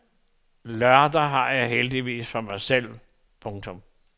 Lørdag har jeg heldigvis for mig selv. punktum